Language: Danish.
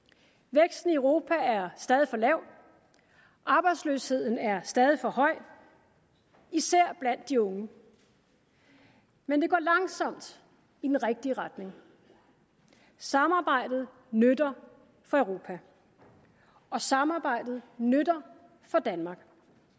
væksten i europa er stadig for lav og arbejdsløsheden er stadig for høj især blandt de unge men det går langsomt i den rigtige retning samarbejdet nytter for europa og samarbejdet nytter for danmark